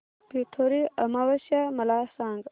पिठोरी अमावस्या मला सांग